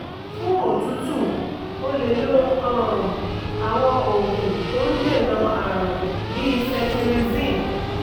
fún òtútù o lè lo um àwọn oògùn tó ń dènà àrùn bí cetirizine